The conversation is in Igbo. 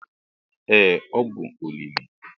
ee ọ bụ olili